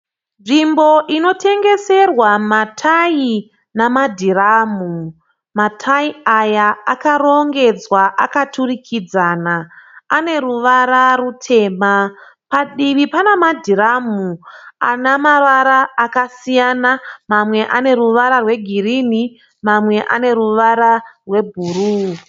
Nzvimbo inotengeserwa matayi namadhiramu. Matayi aya akarongedzwa akaturikidzana. Ane ruvara rutema. Padivi pane madhiramu ana mavara akasiyana. Mamwe ane ruvara rwegirini, mamwe ane ruvara rwebhuruu.